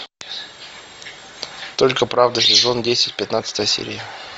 только правда сезон десять пятнадцатая серия